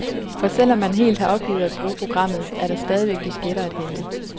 For selv om man helt har opgivet at bruge programmet, er der stadigvæk disketter at hente.